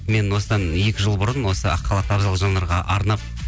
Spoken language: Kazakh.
мен осыдан екі жыл бұрын осы ақ халатты абзал жандарға арнап